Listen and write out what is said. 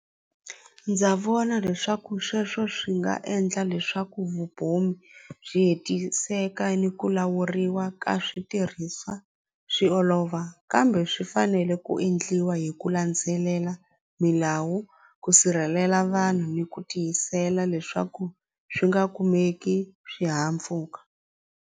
Ndza vona leswaku sweswo swi nga endla leswaku byi hetiseka ni ku lawuriwa ka swi olova ka kumbe swi fanele ku endliwa hi ku landzelela milawu ku sirhelela vanhu ni ku tiyisela leswaku swi nga kumeki swihahampfhuka.